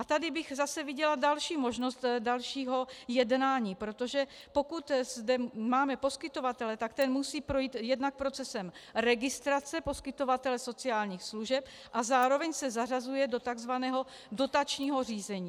A tady bych zase viděla další možnost dalšího jednání, protože pokud zde máme poskytovatele, tak ten musí projít jednak procesem registrace poskytovatele sociálních služeb a zároveň se zařazuje do tzv. dotačního řízení.